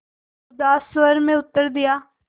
उदास स्वर में उत्तर दिया